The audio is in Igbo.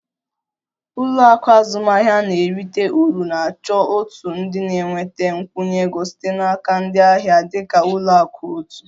Ụlọ akụ azụmahịa na-erite uru na-achọ òtù ndị na-enweta nkwụnye ego site n'aka ndị ahịa e.g ụlọ akụ otu